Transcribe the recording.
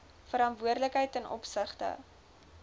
verantwoordelikheid ten opsigte